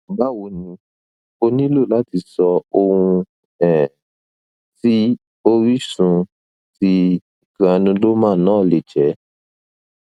bawo ni o nilo lati so ohun um ti orisunme ti granuloma na le je